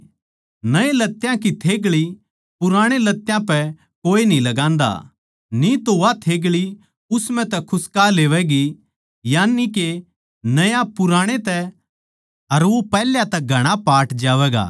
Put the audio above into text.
नये लत्यां की थेग्ळी पुराणे लत्यां पे कोए न्ही लगान्दा न्ही तो वा थेग्ळी उस म्ह तै खुस्का लेवैगी यानिके नया पुराणै तै अर वो पैहल्या तै घणा पाट जावैगा